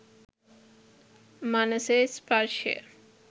මනසේ ස්පර්ශය